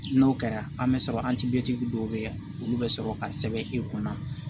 N'o kɛra an bɛ sɔrɔ dɔw bɛ yen olu bɛ sɔrɔ ka sɛbɛn e kunna